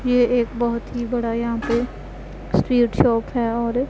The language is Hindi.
ये एक बहोत ही बड़ा यहां पे स्वीट शॉप है और ये--